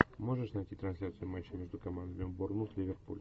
можешь найти трансляцию матча между командами борнмут ливерпуль